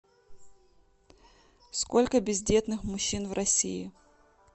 сколько бездетных мужчин в россии